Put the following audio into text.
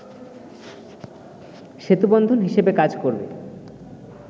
সেতুবন্ধন হিসেবে কাজ করবে